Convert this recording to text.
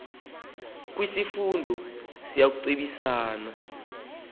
kwisifundo siya kucebisana